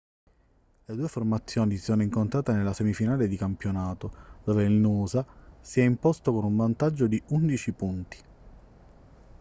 le due formazioni si sono incontrate nella semifinale di campionato dove il noosa si è imposto con un vantaggio di 11 punti